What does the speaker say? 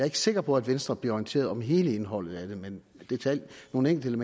ikke sikker på at venstre bliver orienteret om hele indholdet af det men nogle enkelte